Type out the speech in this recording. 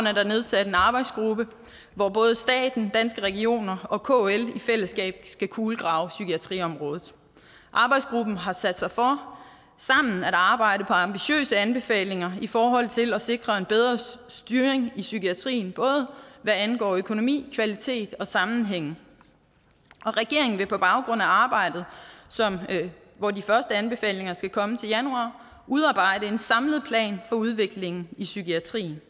er der nedsat en arbejdsgruppe hvor både staten danske regioner og kl i fællesskab skal kulegrave psykiatriområdet arbejdsgruppen har sat sig for sammen at arbejde på ambitiøse anbefalinger i forhold til at sikre en bedre styring i psykiatrien både hvad angår økonomi kvalitet og sammenhæng og regeringen vil på baggrund af arbejdet hvor de første anbefalinger skal komme til januar udarbejde en samlet plan for udviklingen i psykiatrien